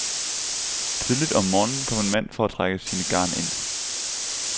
Tidligt om morgenen kom en mand for at trække sine garn ind.